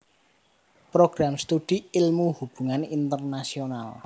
Program Studi Ilmu Hubungan Internasional